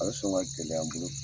A bi sɔn ka gɛlɛya n bolo.